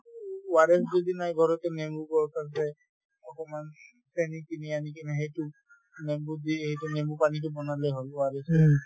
ORS যদি নাই ঘৰতে নেমুৰ গছ আছে অকনমান চেনী কিনি আনি কিনে সেইটো নেমুত দি এইটো নেমু পানীতো বনালে হল ORS